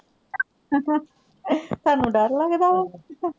ਬੈਠਉਗਾ, ਤੁਹਾਨੂੰ ਡਰ ਲਗਦਾ ਵਾ?